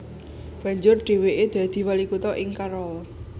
Banjur dhèwèké dadi wali kutha ing Carroll